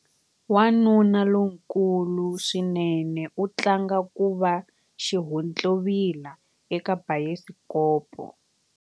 Wanuna lonkulu swinene u tlanga ku va xihontlovila eka bayisikopo.